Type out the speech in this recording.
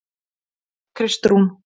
Kristrún